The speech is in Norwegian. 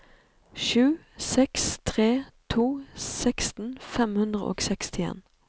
sju seks tre to seksten fem hundre og sekstien